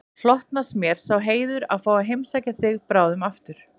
Hlotnast mér sá heiður að fá að heimsækja þig bráðum aftur